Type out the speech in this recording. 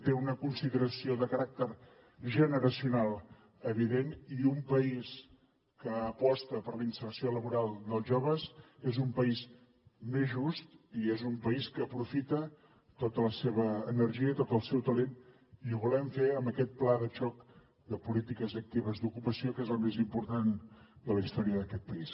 té una consideració de caràcter generacional evident i un país que aposta per la inserció laboral dels joves és un país més just i és un país que aprofita tota la seva energia i tot el seu talent i ho volem fer amb aquest pla de xoc de polítiques actives d’ocupació que és el més important de la història d’aquest país